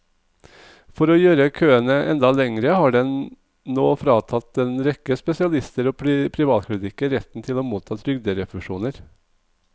For å gjøre køene enda lengre har den nå fratatt en rekke spesialister og privatklinikker retten til å motta trygderefusjoner.